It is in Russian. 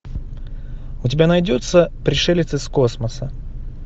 у тебя найдется пришелец из космоса